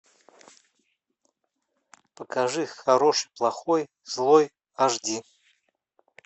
покажи хороший плохой злой аш ди